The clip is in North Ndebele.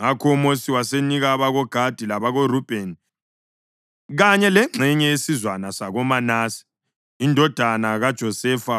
Ngakho uMosi wasenika abakoGadi, labakoRubheni kanye lengxenye yesizwana sakoManase indodana kaJosefa